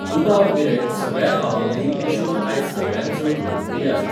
दुबावविरयत, सगळ्या भावांमदीं किशोर आयज सगळ्यांत चड लोकप्रिय आसा.